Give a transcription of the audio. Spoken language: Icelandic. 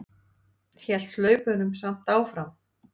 Hélt hlaupunum samt áfram.